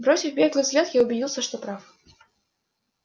бросив беглый взгляд я убедился что прав